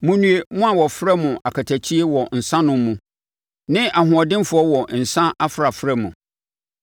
Monnue mo a wɔfrɛ mo akatakyie wɔ nsanom mu ne ahoɔdenfoɔ wɔ nsã afrafra mu.